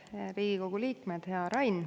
Head Riigikogu liikmed!